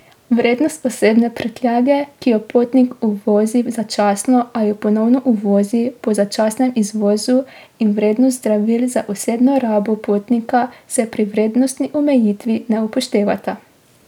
Vrednost osebne prtljage, ki jo potnik uvozi začasno ali jo ponovno uvozi po začasnem izvozu, in vrednost zdravil za osebno rabo potnika se pri vrednostni omejitvi ne upoštevata.